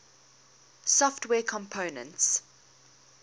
software components